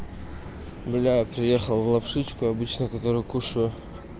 милая приехал в лапшичку обычно которую кушаю